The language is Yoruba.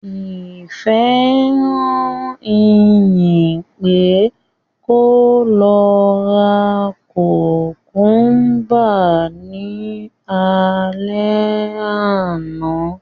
Ìfẹ́ rán Ìyìn pé kó lọ ra kùmkúmbà ní alẹ́ àná